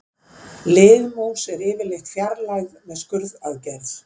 Liðmús er yfirleitt fjarlægð með skurðaðgerð.